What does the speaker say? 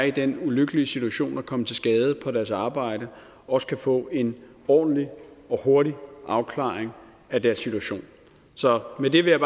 i den ulykkelige situation at komme til skade på deres arbejde også kan få en ordentlig og hurtig afklaring af deres situation så med det vil jeg